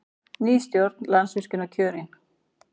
Ný stjórn Landsvirkjunar kjörin